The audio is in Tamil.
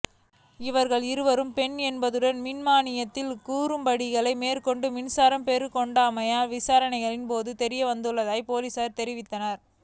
இவர்களில் இருவர் பெண்கள் என்பதுடன் மின்மாணியில் குளறுபடிகளை மேற்கொண்டு மின்சாரம் பெற்றுக்கொண்டமை விசாரணைகளின் போது தெரியவந்துள்ளதாகப் பொலிஸார் தெரிவித்தனர்